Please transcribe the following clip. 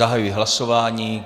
Zahajuji hlasování.